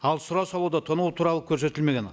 ал сұрау салуда тонау туралы көрсетілмеген